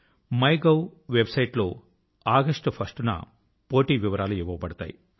MyGov website లో August 1వ తేదీన ఫలితాలు ఇవ్వబడతాయి